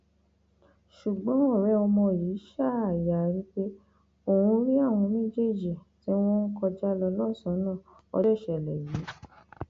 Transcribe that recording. ṣùgbọn ọrẹ ọmọ yìí ṣáà yarí pé òun rí àwọn méjèèjì tí wọn ń kọjá lọ lọsànán ọjọ ìṣẹlẹ yìí